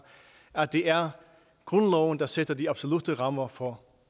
at det er grundloven der sætter de absolutte rammer for